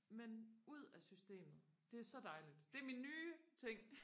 men ud af systemet det er så dejligt det er min nye ting